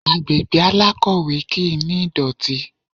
Agbègbè alákọ̀wẹ́ kì ní ìdọ̀tí.